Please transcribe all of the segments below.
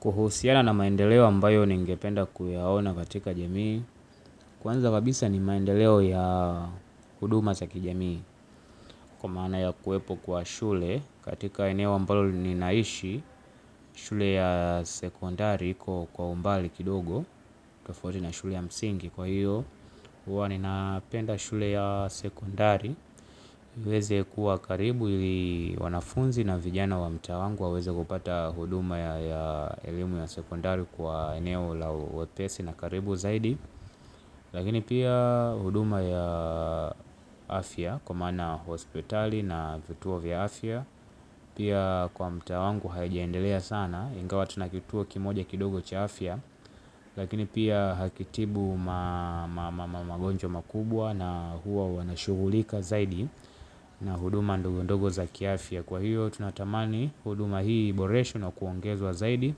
Kuhusiana na maendeleo ambayo ni ngependa kuyaona katika jamii, kwanza kabisa ni maendeleo ya huduma zaki jamii, kwa maana ya kuwepo kwa shule, katika eneo ambayo ni naishi shule ya sekondari iko kwa umbali kidogo, tofauti na shule ya msingi kwa hiyo, uwa ni napenda shule ya sekondari, iweze kuwa karibu ili wanafunzi na vijana wa mtaa wangu wa weze kupata huduma ya elimu ya sekondari kwa eneo la wepesi na karibu zaidi. Lakini pia huduma ya afya kwa maana hospitali na vituo vya afya. Pia kwa mtaa wangu haijaendelea sana ingawa tunakitua kimoja kidogo cha afya. Lakini pia hakitibu magonjwa makubwa na huwa wanashugulika zaidi. Na huduma ndoguo ndogo za kiafya kwa hiyo tunatamani huduma hii iboreshwe na kuongezwa zaidi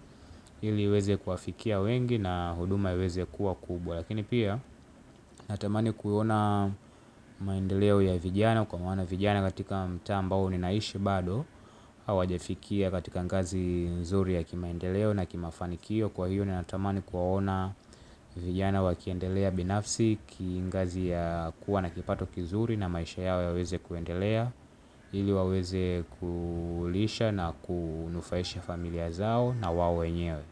ili iweze kuwafikia wengi na huduma iweze kuwa kubwa. Lakini pia natamani kuona maendeleo ya vijana kwa maana vijana katika mtaa ambao ninaishi bado hawajafikia katika ngazi nzuri ya kimaendeleo na kimafanikio kwa hiyo ni natamani kuwaona vijana wa kiendelea binafsi ki ngazi ya kuwa na kipato kizuri na maisha yao ya weze kuendelea ili waweze kulisha na kunufaisha familia zao na wao wenyewe.